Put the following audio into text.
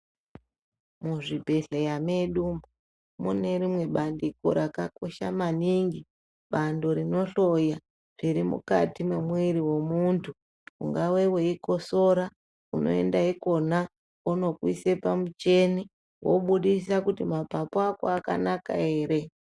Muzvibhedhlera medu munerimwe bandiko rakakosha maningi bandiko rinohloya zvemukati memuviri mwemuntu ungave weyi kosora unoenda ikona vonokuisa pamucheni wobudisa kuti mapapu ako akanaka here.